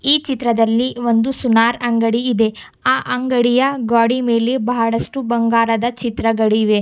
ಈ ಚಿತ್ರದಲ್ಲಿ ಒಂದು ಸುನಾರ್ ಅಂಗಡಿ ಇದೆ ಆ ಅಂಗಡಿಯ ಗ್ವಾಡಿ ಮೇಲೆ ಬಹಳಷ್ಟು ಬಂಗಾರದ ಚಿತ್ರಗಳಿವೆ.